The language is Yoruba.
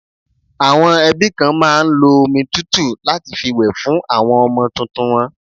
Àwọn ẹbí kan máa ń lo omi tútù láti fi wẹ̀ fún àwọn ọmọ tuntun won.